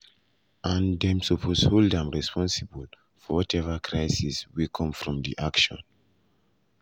um and dem suppose hold am responsible for um whatever crisis wey come from di action.”